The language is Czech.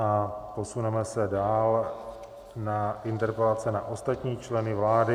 A posuneme se dál na interpelace na ostatní členy vlády.